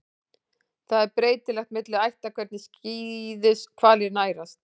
Það er breytilegt milli ætta hvernig skíðishvalir nærast.